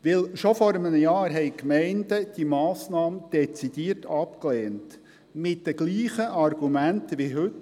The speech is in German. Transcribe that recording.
Denn schon vor einem Jahr lehnten die Gemeinden diese Massnahme dezidiert ab, mit denselben Argumenten wie heute.